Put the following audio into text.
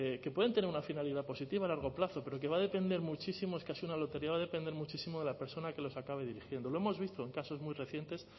que pueden tener una finalidad positiva a largo plazo pero que va a depender muchísimo es casi una lotería va a depender muchísimo de la persona que los acabe dirigiendo lo hemos visto en casos muy recientes